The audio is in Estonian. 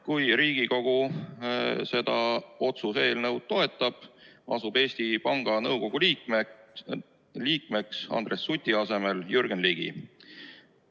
Kui Riigikogu seda otsuse eelnõu toetab, asub Eesti Panga Nõukogu liikmeks Andres Suti asemel Jürgen Ligi.